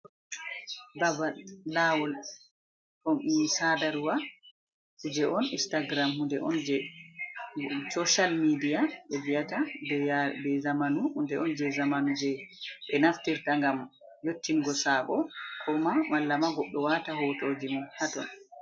Babal lawol jai sadarwa je on istagiram hunde on je soshal midiya, ɓe viata be zamanu hunde on je zamanu je ɓe naftirta ngam yottin gosako koma wala ma goɗɗo wata hotoji mum haton.